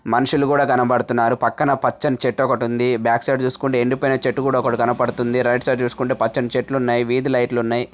మనుషులు కూడా కనబడుతున్నారు పక్కన పచ్చని చెట్టు ఒకటి ఉంది బ్యాక్ సైడ్ చూసుకుంటే ఎండి పాయిన చెట్టు ఒకటి కనబడుతుంది రైట్ సైడ్ చూసుకుంటే పచ్చని చెట్లు ఉన్నాయి వీది లైట్లు ఉన్నాయి.